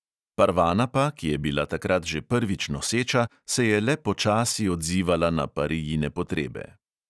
Parvana pa, ki je bila takrat že prvič noseča, se je le počasi odzivala na parijine potrebe.